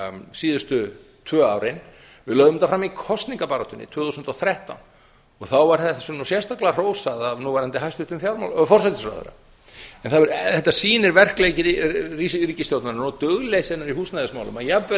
síðustu tvö árin við lögðum þetta fram í kosningabaráttunni tvö þúsund og þrettán og þá var þessu nú sérstaklega hrósað af nú núverandi hæstvirtum forsætisráðherra þetta sýnir verkleysi ríkisstjórnarinnar og dugleysi hennar í húsnæðismálum að jafnvel